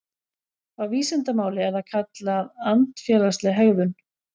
Á vísindamáli er það kallað andfélagsleg hegðun.